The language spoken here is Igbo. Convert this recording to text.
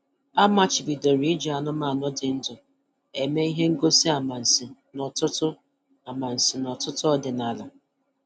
Amachibidoro iji anụmanụ dị ndụ eme ihe ngosi amansi n'ọtụtụ amansi n'ọtụtụ ọdịnala.